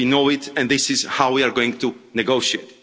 We know that, and this is how we are going to negotiate.